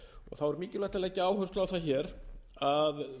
þá er mikilvægt að leggja áherslu á það hér að